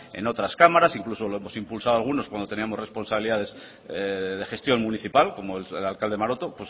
en otras cámaras incluso lo hemos impulsado algunos cuando teníamos responsabilidades de gestión municipal como el alcalde maroto